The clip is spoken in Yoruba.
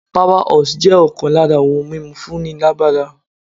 Power horse' jẹ́ ọkàn lára ohun mímu fún ni lágbára